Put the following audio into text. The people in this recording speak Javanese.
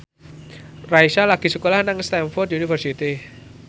Raisa lagi sekolah nang Stamford University